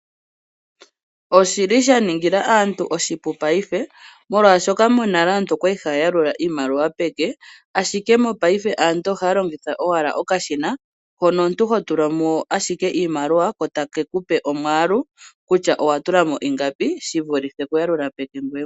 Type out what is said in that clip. Oshi li sha ningila aantu oshipu paife, molwashoka aantu monale okwali ha ya yalula iimaliwa peke, ashike mopaife aantu ohaya longitha owala okashina, hono omuntu ho tula mo owala iimaliwa ko ta ke kupe omwaalu kutya owa tulamo ingapi, shi vulithe okuyalula peke ngoye mwene.